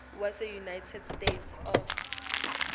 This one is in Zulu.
waseunited states of